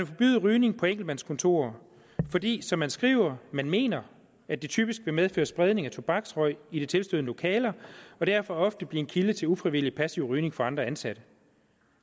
forbyde rygning på enkeltmandskontorer fordi som man skriver mener at det typisk vil medføre spredning af tobaksrøg i de tilstødende lokaler og derfor ofte vil blive en kilde til ufrivillig passiv rygning for andre ansatte